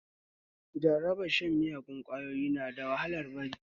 Jarabar shan miyagun ƙwayoyi na da wahalar bari